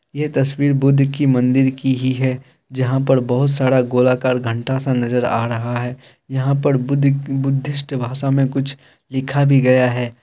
ये तस्वीर बुद्ध की मंदिर की ही है जहाँ पर बहोत सारा गोलाकार घंटा सा नज़र आ रहा है यहाँ पर बुद्ध बुद्धिष्ट भाषा में कुछ लिखा भी गया है।